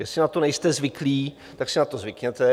Jestli na to nejste zvyklý, tak si na to zvykněte.